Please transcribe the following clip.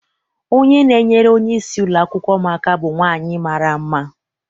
Onye na-enyere onye isi ụlọakwụkwọ m aka bụ nwaanyị mara mma.